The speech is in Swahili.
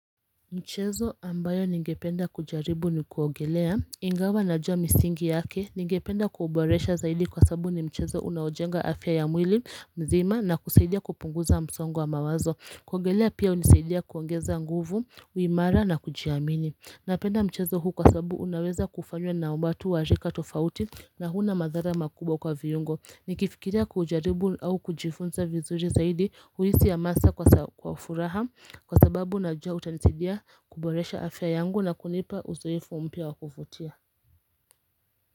Mchezo ambayo ningependa kujaribu ni kuogelea Ingawa najua misingi yake ningependa kuuboresha zaidi kwa sababu ni mchezo unaojenga afya ya mwili mzima na kusaidia kupunguza msongo wa mawazo kuogelea pia hunisaidia kuongeza nguvu, uimara na kujiamini Napenda mchezo huu kwa sababu unaweza kufanywa na umati wa rika tofauti na huna madhara makubwa kwa viungo Nikifikiria kuujaribu au kujifunza vizuri zaidi huisi hamasa kwa furaha kwa sababu najua utanisidia kuboresha afya yangu na kunipa uzoefu mpya wa kuvutia.